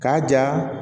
K'a ja